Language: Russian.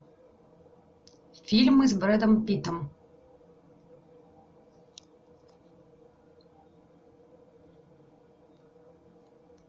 фильмы с брэдом питтом